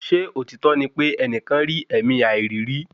Ṣé òtítọ́ ní pè ẹnìkan rí ẹ̀mí àìrí rí?